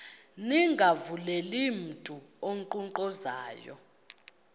ningavuleli mntu unkqonkqozayo